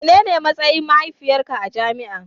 Menene matsayin mahaifiyarka a jami'an.